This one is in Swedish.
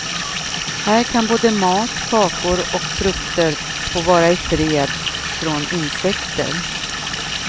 Här kan både mat, kakor och frukter få vara ifred från insekter.